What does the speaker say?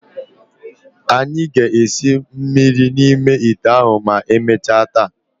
Anyị ga-esi mmiri n'ime ite ahụ ma emechaa taa.